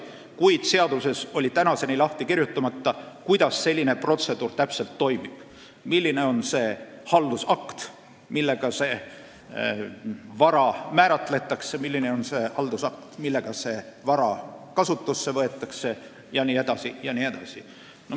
Kuid seaduses oli tänaseni lahti kirjutamata, kuidas selline protseduur täpselt toimub, milline on see haldusakt, millega see vara kindlaks määratakse, milline on see haldusakt, millega see vara kasutusse võetakse jne.